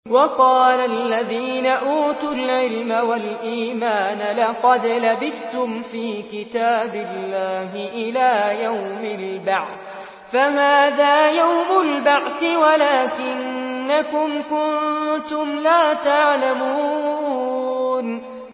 وَقَالَ الَّذِينَ أُوتُوا الْعِلْمَ وَالْإِيمَانَ لَقَدْ لَبِثْتُمْ فِي كِتَابِ اللَّهِ إِلَىٰ يَوْمِ الْبَعْثِ ۖ فَهَٰذَا يَوْمُ الْبَعْثِ وَلَٰكِنَّكُمْ كُنتُمْ لَا تَعْلَمُونَ